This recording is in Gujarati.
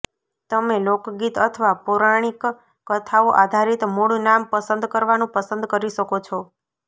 તમે લોકગીત અથવા પૌરાણિક કથાઓ આધારિત મૂળ નામ પસંદ કરવાનું પસંદ કરી શકો છો